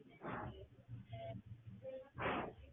சரி